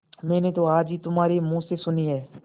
मैंने तो आज ही तुम्हारे मुँह से सुनी है